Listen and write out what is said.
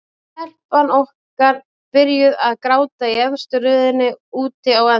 Og telpan okkar byrjuð að gráta í efstu röðinni úti á enda.